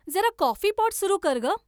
जरा coffee pot सुरु कर गं